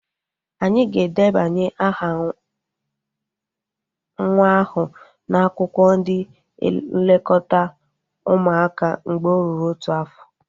Anyị ga-edebanye aha nwa ahu n'akwụkwọ ndị nlekọta ụmụaka mgbe o ruru otu afọ